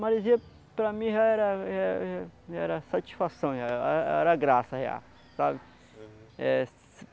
Marizia para mim já era já era já já já era satisfação, já a a era era graça, sabe? É